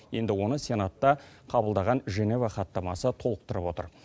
енді оны сенатта қабылдаған женева хаттамасы толықтырып отыр